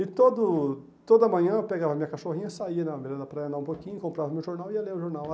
E todo toda manhã eu pegava a minha cachorrinha, saía na beira da praia, andava um pouquinho, comprava meu jornal e ia ler o jornal.